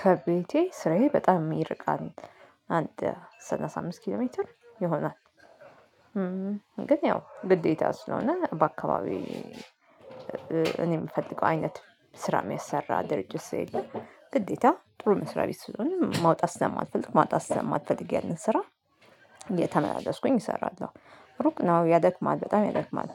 ከቤቴ ስራዬ በጣም ይርቃል አንድ ሰላሳ አምስት ኪሎ ሜትር ይሆናል። ግን ያው ግዴታ ስለሆነ በአካባቢው እ እኔ ምፈልገው አይነት ስራ የሚያሰራ ድርጅት ስለሌለ ግዴታ ጥሩ መስሪያ ቤት ስሆን መውጣት ስለማልፈልግ ማጣት ስለማልፈልግ ያነን ስራ እተመላለስኩኝ እሰራለሁ። ሩቅ ነው ያደክማል በጣም ያደክማል።